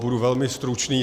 Budu velmi stručný.